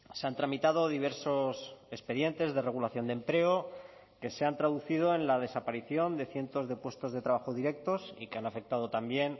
se han tramitado diversos expedientes de regulación de empleo que se han traducido en la desaparición de cientos de puestos de trabajo directos y que han afectado también